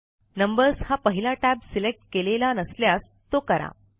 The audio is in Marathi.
नंबर्स हा पहिला टॅब सिलेक्ट केलेला नसल्यास तो करा